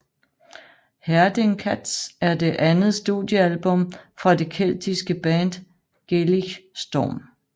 Herding Cats er det andet studiealbum fra det keltiske band Gaelic Storm